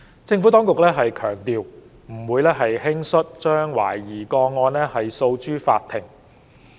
政府當局強調，不會輕率將懷疑個案訴諸法庭。